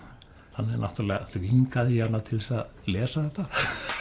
þannig náttúrulega þvingaði ég hana til að lesa þetta